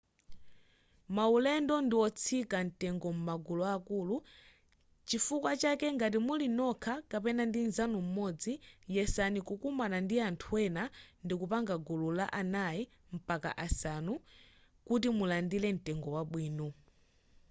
maulendo ndiotsika mtengo m'magulu akulu chifukwa chake ngati muli nokha kapena ndi nzanu m'modzi yesani kukumana ndi anthu ena ndikupanga gulu la anayi mpaka asanu kuti mulandire mtengo wabwino